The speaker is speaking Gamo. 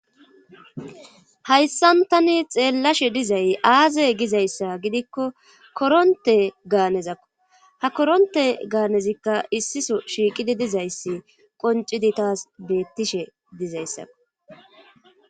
Hayssan tani xeellashe dizay aaze gizayssa gidikko koronte gaanezakko ha koronte gaanezikka issiso shiiqidi dizayssi qoncidi taas beettishe dizayssakko